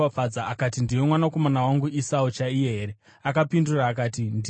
Akati, “Ndiwe mwanakomana wangu Esau chaiye here?” Akapindura akati, “Ndini.”